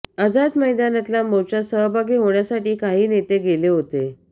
आझाद मैदानातल्या मोर्चात सहभागी होण्यासाठी काही नेते गेले होते